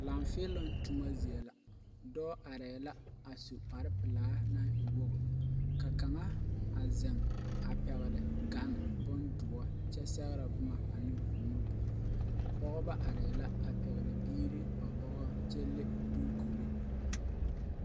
Laafiilung tuma zeɛ la doɔ arẽ la a su kpare pelaa nang e wogu ka kanga a zeng a pɛgli gan bunduo kye segrɛ buma ani ɔ nuduri pɔgba arẽ la a pɛgli biiri ba bɔgɔ kye le duukure.